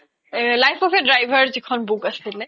life of a driver যি খন book আছিলে